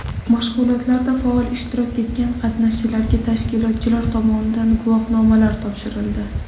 Mashg‘ulotlarda faol ishtirok etgan qatnashchilarga tashkilotchilar tomonidan guvohnomalar topshirildi.